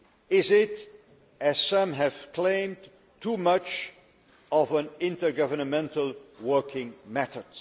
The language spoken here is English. Is it, as some have claimed, too much of an intergovernmental working method?